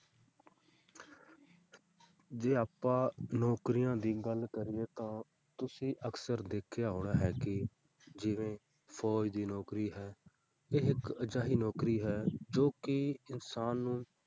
ਜੇ ਆਪਾਂ ਨੌਕਰੀਆਂ ਦੀ ਗੱਲ ਕਰੀਏ ਤਾਂ ਤੁਸੀਂ ਅਕਸਰ ਦੇਖਿਆ ਹੋਣਾ ਹੈ ਕਿ ਜਿਵੇਂ ਫ਼ੌਜ ਦੀ ਨੌਕਰੀ ਹੈ ਇਹ ਇੱਕ ਅਜਿਹੀ ਨੌਕਰੀ ਹੈ ਜੋ ਕਿ ਇਨਸਾਨ ਨੂੰ,